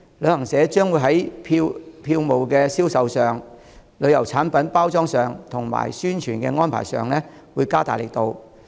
旅行社將會在票務銷售、旅遊產品包裝及宣傳的安排上加大力度。